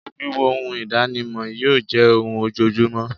Wííwo oun ìdánimọ̀ yíò jẹ́ oun ojojúmọ́